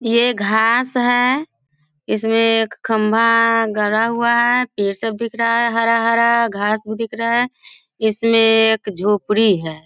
ये घास है इसमें एक खंबा गड़ा हुआ है पेड़ सब दिख रहा है हरा-हरा घास भी दिख रहा है इसमें एक झोपड़ी है।